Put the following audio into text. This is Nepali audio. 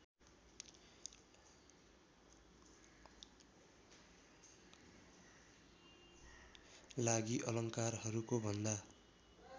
लागि अलङ्कारहरूको भन्दा